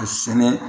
A sɛnɛ